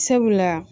Sabula